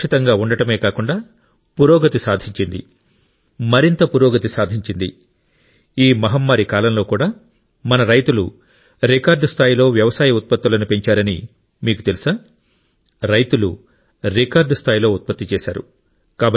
సురక్షితంగా ఉండడమే కాకుండా పురోగతి సాధించింది మరింత పురోగతి సాధించింది ఈ మహమ్మారి కాలంలో కూడా మన రైతులు రికార్డు స్థాయిలో వ్యవసాయ ఉత్పత్తులను పెంచారని మీకు తెలుసా రైతులు రికార్డు స్థాయిలో ఉత్పత్తి చేశారు